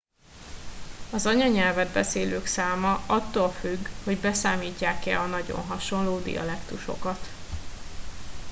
az anyanyelvet beszélők száma attól függ hogy beszámítják e a nagyon hasonló dialektusokat